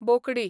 बोकडी